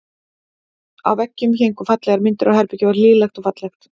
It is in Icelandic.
Á veggjunum héngu fallegar myndir og herbergið var hlýlegt og fallegt.